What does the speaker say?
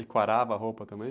E quarava a roupa também?